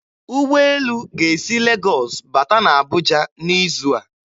Ụgbọelu ga-esi Legọs bata na Abuja n'izu a.